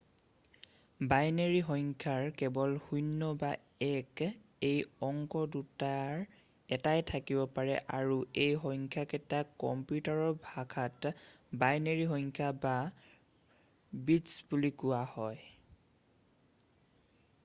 Binary সংখ্যাৰ কেৱল ০ বা ১ এই অংক দুটাৰ এটাই থাকিব পাৰে আৰু এই সংখ্যাকেইটাক কম্পিউটাৰৰ ভাষাত বাইনেৰী সংখ্যা বা বিট্‌ছ বুলি কোৱা হয়।